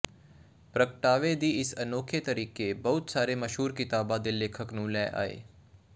ਪ੍ਰਗਟਾਵੇ ਦੀ ਇਸ ਅਨੋਖੇ ਤਰੀਕੇ ਬਹੁਤ ਸਾਰੇ ਮਸ਼ਹੂਰ ਕਿਤਾਬ ਦੇ ਲੇਖਕ ਨੂੰ ਲੈ ਆਏ